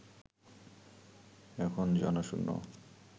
এখন জনশূণ্য